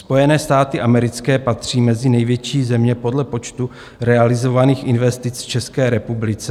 Spojené státy americké patří mezi největší země dle počtu realizovaných investic v České republice.